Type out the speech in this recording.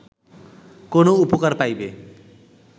কোন উপকার পাইবে